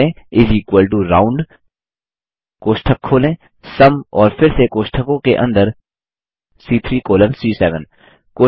type करें इस equal to round कोष्ठक खोलें सुम और फिर से कोष्ठकों के अंदर सी3 कॉलन सी7